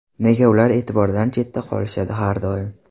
Nega ular e’tibordan chetda qolishadi har doim?